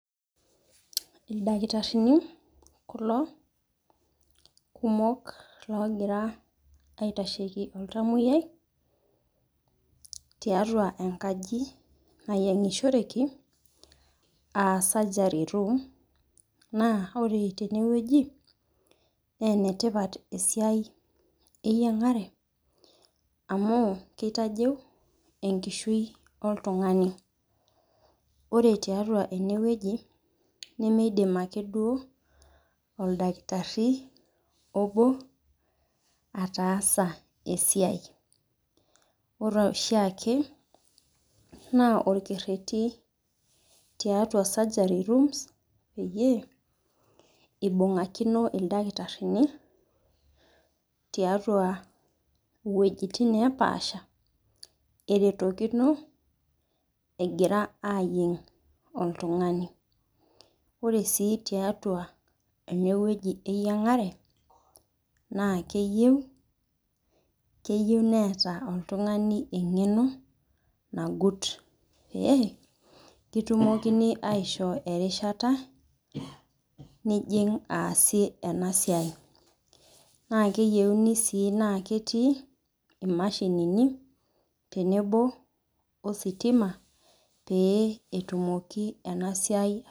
Ildakitarini kulo kumok loogira aitasheki oltamoyiai tiatua enkaji nayeingisshoreki aa surgery room na ore tene wueji naa enetipat esiai eyiangare amu kitajeu enkishui oltungani. ore tiatua ene wueji nemeidim ake duoo oldakitari obo, ataasa esiai. ore shiake na olkereti tiatua surgery rooms peyie eubungakini ildakitarini, tiatua iwuejitin nepaasha neretokino egira aayieng' oltungani. ore sii tiatua ene wueji eyiangare naa keyieu neeta oltungani eyiangare nagut .pee kitumokini aishoo erishata nijing aasie ena siai. naa keyieuni sii naa ketii imashinini ositima pee etumoki ena siai.